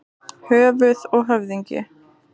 Höfuð og höfðingi.